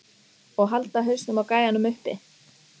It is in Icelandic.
Og halda hausnum á gæjanum uppi!